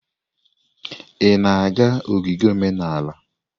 Ị na-aga ogige omenala?